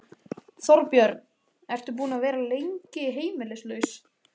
Þorbjörn: Ertu búinn að vera lengi heimilislaus?